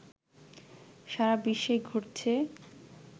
সারা বিশ্বেই ঘটছে